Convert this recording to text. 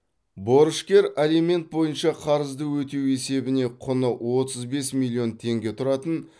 борышкер алимент бойынша қарызды өтеу есебіне құны отыз бес миллион теңге тұратын